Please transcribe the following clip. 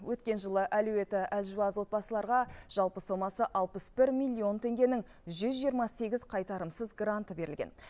өткен жылы әлеуеті әлжуаз отбасыларға жалпы сомасы алпыс бір миллион теңгенің жүз жиырма сегіз қайтарымсыз гранты берілген